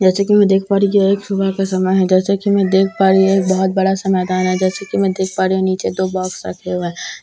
जैसा कि मैं देख पा रही हूं यहां एक सुबह का समय है जैसे कि मैं देख पा रही हूं एक बहुत बड़ा सा मैदान है जैसे कि मैं देख पा रही हूं नीचे दो बॉक्स रखे हुए हैं जैसे कि मैं देख--